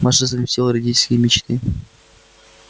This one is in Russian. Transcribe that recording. маша совместила родительские мечты